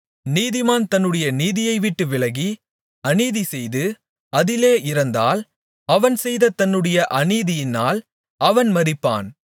நீதிமான் தன்னுடைய நீதியைவிட்டு விலகி அநீதிசெய்து அதிலே இறந்தால் அவன் செய்த தன்னுடைய அநீதியினால் அவன் மரிப்பான்